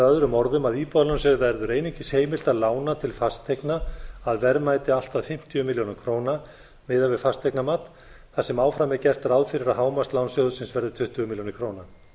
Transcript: öðrum orðum að íbúðalánasjóði verður einungis heimilt að lána til fasteigna að verðmæti allt að fimmtíu milljónir króna miðað við fasteignamat þar sem áfram er gert ráð fyrir að hámarkslán sjóðsins verði tuttugu milljónir króna